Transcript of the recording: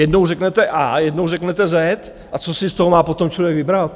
Jednou řeknete A, jednou řeknete Z, a co si z toho má potom člověk vybrat?